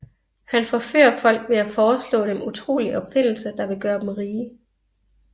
Han forfører folk ved at foreslå dem utrolige opfindelser der vil gøre dem rige